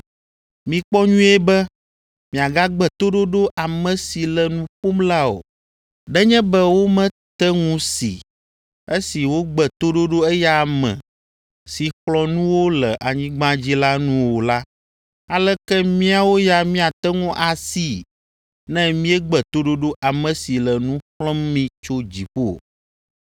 Mikpɔ nyuie be miagagbe toɖoɖo ame si le nu ƒom la o. Nenye be womete ŋu si, esi wogbe toɖoɖo eya ame si xlɔ̃ nu wo le anyigba dzi la nu o la, aleke míawo ya míate ŋu asii ne míegbe toɖoɖo ame si le nu xlɔ̃m mí tso dziƒo?